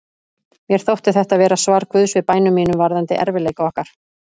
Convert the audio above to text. Mér þótti þetta vera svar Guðs við bænum mínum varðandi erfiðleika okkar.